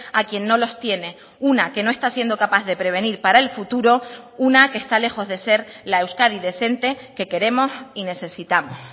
a quien no los tiene una que no está siendo capaz de prevenir para el futuro una que está lejos de ser la euskadi decente que queremos y necesitamos